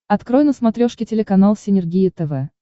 открой на смотрешке телеканал синергия тв